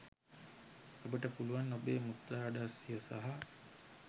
ඔබට පුළුවන් ඔබේ මුත්‍රා අඩස්සිය සහ